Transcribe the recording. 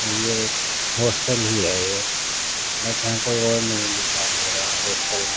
ये एक हॉस्टेल ही है बट यहाँ और कोई नहीं दिखाई दे रहा है हॉस्टेल में.